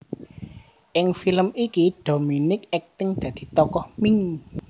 Ing film iki Dominique akting dadi tokoh Ming